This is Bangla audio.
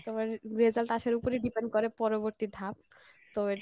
তোমার result আসার উপরিই depend করে পরবর্তী ধাপ তো